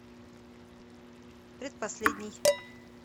предпоследний